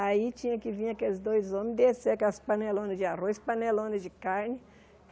Aí tinha que vir aqueles dois homens, descer aquelas panelonas de arroz, panelonas de carne.